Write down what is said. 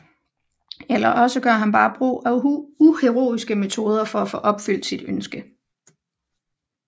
Eller også gør han bare brug af uheroiske metoder for at få opfyldt sit ønske